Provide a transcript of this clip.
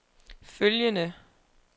følgende